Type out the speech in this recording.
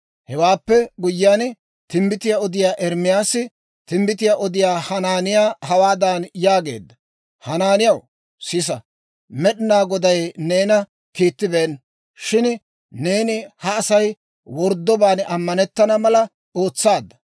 Hewaappe guyyiyaan, timbbitiyaa odiyaa Ermaasi timbbitiyaa odiyaa Hanaaniyaa hawaadan yaageedda; «Hanaaniyaw, sisa! Med'inaa Goday neena kiittibeenna; shin neeni ha Asay worddobaan ammanettana mala ootsaadda.